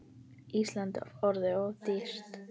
Ísland er orðið of dýrt.